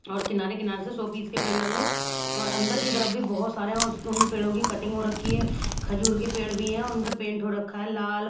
और किनारे-किनारे से सौ पीस के पेड़ लगे है और अंदर की तरफ भी बहुत सारे उस उन पेड़ों की कटिंग हो रखी है खजूर के पेड़ भी हैं और उन पे पेंट हो रखा है लाल--